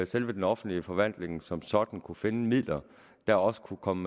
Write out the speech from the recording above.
selve den offentlige forvaltning som sådan kunne finde midler der også kunne komme